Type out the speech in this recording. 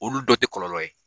Olu dɔ tɛ kɔlɔlɔ ye.